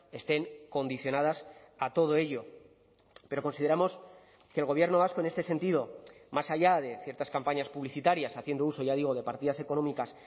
estén condicionadas a todo ello pero consideramos que el gobierno vasco en este sentido más allá de ciertas campañas publicitarias haciendo uso ya digo de partidas económicas